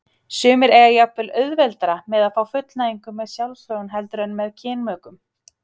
Sumir eiga jafnvel auðveldara með að fá fullnægingu með sjálfsfróun heldur en með kynmökum.